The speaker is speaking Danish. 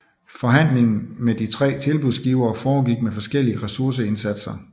Forhandlingen med de 3 tilbudsgivere foregik med forskellige resurseindsatser